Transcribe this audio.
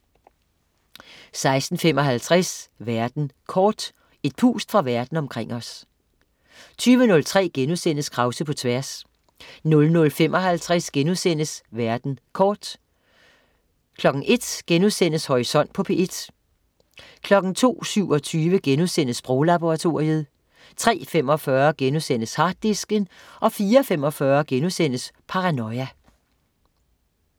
16.55 Verden kort. Et pust fra verden omkring os 20.03 Krause på tværs* 00.55 Verden kort* 01.00 Horisont på P1* 02.27 Sproglaboratoriet* 03.45 Harddisken* 04.45 Paranoia*